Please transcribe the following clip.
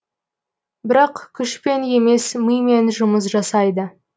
бірақ күшпен емес мимен жұмыс жасайды